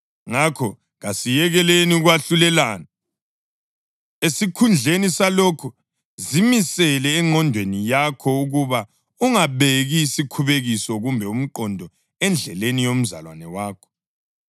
Ngakho kasiyekeleni ukwahlulelana. Esikhundleni salokho zimisele engqondweni yakho ukuba ungabeki isikhubekiso kumbe umgoqo endleleni yomzalwane wakho.